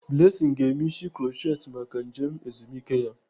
Blessing ga-eme isi krutchet maka njem ezumike ya.